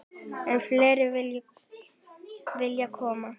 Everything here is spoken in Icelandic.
Enn fleiri vilja koma.